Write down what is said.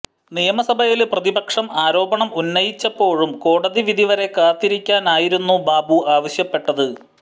നിയമസഭയില് പ്രതിപക്ഷം ആരോപണം ഉന്നയിച്ചപ്പോഴും കോടതി വിധിവരെ കാത്തിരിക്കാനായിരുന്നു ബാബു ആവശ്യപ്പെട്ടത്